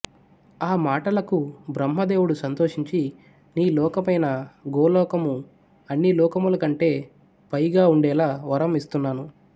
ఆ మాటలకు బ్రహ్మదేవుడు సంతోషించి నీ లోకమైన గోలోకము అన్ని లోకముల కంటే పైగా ఉండేలా వరం ఇస్తున్నాను